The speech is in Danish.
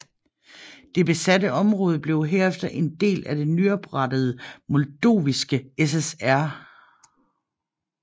Det besatte område blev herefter en del af den nyoprettede Moldoviske SSR